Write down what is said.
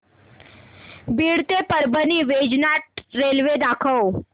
बीड ते परळी वैजनाथ रेल्वे दाखव